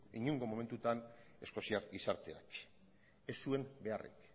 inongo momentutan eskoziar gizarteak ez zuen beharrik